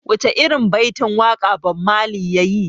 Wace irin baitin waƙa Bob Marley yayi?